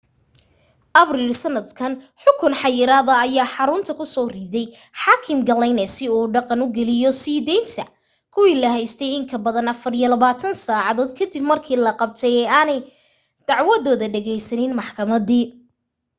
abril sannadkan xukun xayiraada ayuu xarunta ku soo riday xaakim glyne si uu dhaqan geliyo sii daynta kuwii la haystay in ka badan 24 saacadood ka dib markii la qabtay ee aanay dacwadooda dhegaysanin maxkamadi